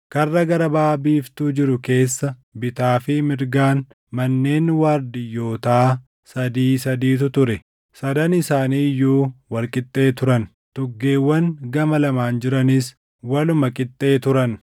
Karra gara baʼa biiftuu jiru keessa bitaa fi mirgaan manneen waardiyyootaa sadii sadiitu ture; sadan isaanii iyyuu wal qixxee turan. Tuggeewwan gama lamaan jiranis waluma qixxee turan.